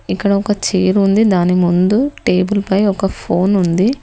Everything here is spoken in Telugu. ఇక్కడ ఒక చైర్ ఉంది దాని ముందు టేబుల్ పై ఒక ఫోన్ ఉంది.